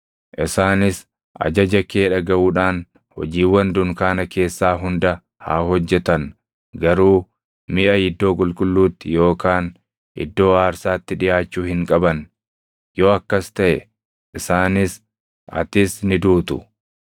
Isaanis ajaja kee dhagaʼuudhaan hojiiwwan dunkaana keessaa hunda haa hojjetan; garuu miʼa iddoo qulqulluutti yookaan iddoo aarsaatti dhiʼaachuu hin qaban. Yoo akkas taʼe isaanis, atis ni duutu.